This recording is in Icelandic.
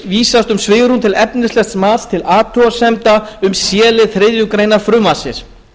vísast um svigrúm til efnislegs mats til athugasemda um c lið þriðju greinar frumvarpsins